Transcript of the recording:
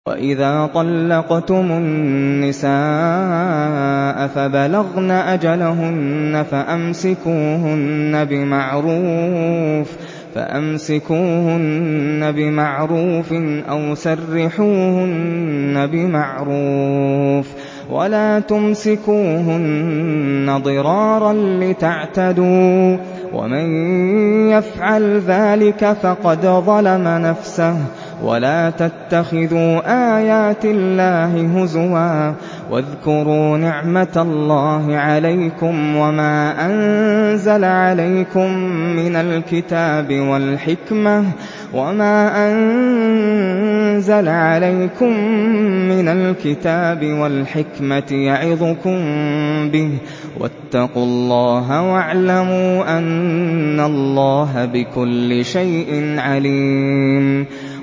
وَإِذَا طَلَّقْتُمُ النِّسَاءَ فَبَلَغْنَ أَجَلَهُنَّ فَأَمْسِكُوهُنَّ بِمَعْرُوفٍ أَوْ سَرِّحُوهُنَّ بِمَعْرُوفٍ ۚ وَلَا تُمْسِكُوهُنَّ ضِرَارًا لِّتَعْتَدُوا ۚ وَمَن يَفْعَلْ ذَٰلِكَ فَقَدْ ظَلَمَ نَفْسَهُ ۚ وَلَا تَتَّخِذُوا آيَاتِ اللَّهِ هُزُوًا ۚ وَاذْكُرُوا نِعْمَتَ اللَّهِ عَلَيْكُمْ وَمَا أَنزَلَ عَلَيْكُم مِّنَ الْكِتَابِ وَالْحِكْمَةِ يَعِظُكُم بِهِ ۚ وَاتَّقُوا اللَّهَ وَاعْلَمُوا أَنَّ اللَّهَ بِكُلِّ شَيْءٍ عَلِيمٌ